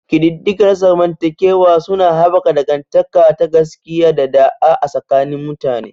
Ƙididdiga na zamantakewa suna haɓaka dangantaka ta gaskiya da ɗa'a a tsakanin mutane.